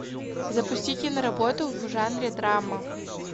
запусти киноработу в жанре драма